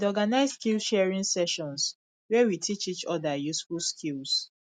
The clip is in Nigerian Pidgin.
i dey organize skillsharing sessions where we teach each other useful skills